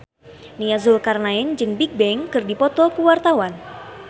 Nia Zulkarnaen jeung Bigbang keur dipoto ku wartawan